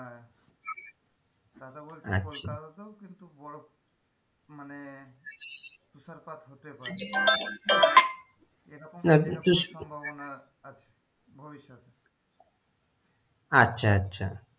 তা হলে বলছে আচ্ছা কলকাতাতেও কিন্তু বরফ মানে তুষারপাত হতে পারে এরকম সম্বাবনা আছে ভবিষ্যতে আচ্ছা আচ্ছা।